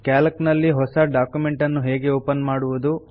Calc ನಲ್ಲಿ ಹೊಸ document ಅನ್ನು ಹೇಗೆ ಓಪನ್ ಮಾಡುವುದು